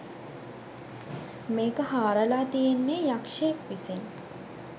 මේක හාරලා තියෙන්නේ යක්ෂයෙක් විසින්.